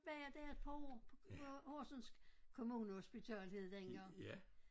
Var jeg der et par år på Horsens kommunehospital hed det dengang